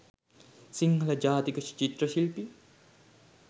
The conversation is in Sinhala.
සිංහල ජාතික චිත්‍ර ශිල්පී